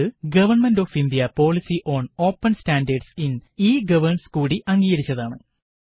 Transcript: ഇത് government of India policy on open standards in e governance കൂടി അംഗീകരിച്ചതാണ്